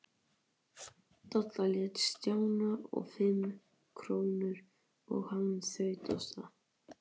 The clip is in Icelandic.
Dadda lét Stjána fá fimm krónur og hann þaut af stað.